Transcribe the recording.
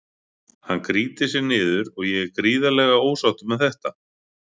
Hann grýtir sér niður og ég er gríðarlega ósáttur með þetta.